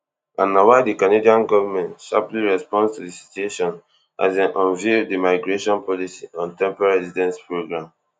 na why di canadian govment sharply respond to di situation as dem unveil di migration policy on temporary residence program